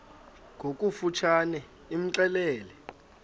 ngokofu tshane imxelele